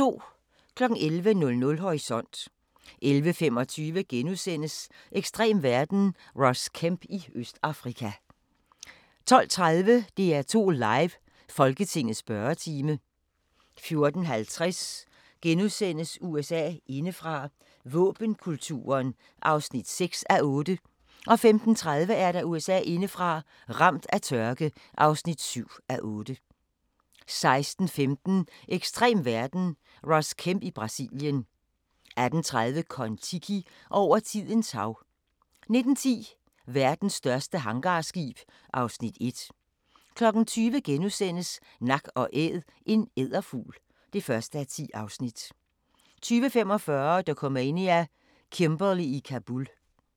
11:00: Horisont 11:25: Ekstrem verden – Ross Kemp i Østafrika * 12:30: DR2 Live: Folketingets spørgetime 14:50: USA indefra: Våbenkulturen (6:8)* 15:30: USA indefra: Ramt af tørke (7:8) 16:15: Ekstrem verden – Ross Kemp i Brasilien 18:30: Kon-Tiki – over tidens hav 19:10: Verdens største hangarskib (Afs. 1) 20:00: Nak & Æd – en edderfugl (1:10)* 20:45: Dokumania: Kimberley i Kabul